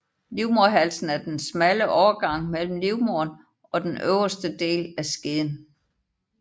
Livmoderhalsen er den smalle overgang mellem livmoderen og den øverste del af skeden